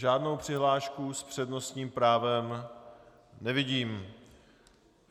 Žádnou přihlášku s přednostním právem nevidím.